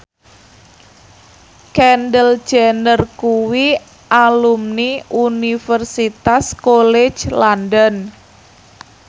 Kendall Jenner kuwi alumni Universitas College London